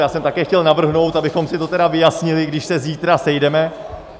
Já jsem také chtěl navrhnout, abychom si to tedy vyjasnili, když se zítra sejdeme.